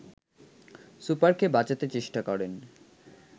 সুপারকে বাঁচাতে চেষ্টা করেন